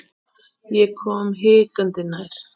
Ég kom hikandi nær.